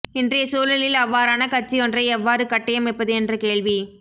இனறைய சூழலில் அவ்வாறான கட்சியொன்றை எவ்வாறு கட்டியமைப்பது என்ற கேள்வி